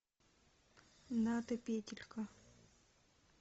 ната петелька